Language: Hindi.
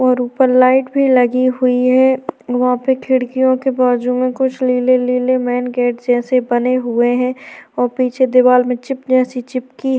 और ऊपर लाइट भी लगी हुई है और वहाँ पे खिड़कियों के बाजु में कुछ नीले-नीले मेन गेट जैसे बने हुए है और पीछे दिवार में चिपलिया सी चिपकी है।